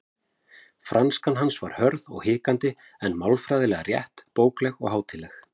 Franskan hans var hörð og hikandi en málfræðilega rétt, bókleg og hátíðleg.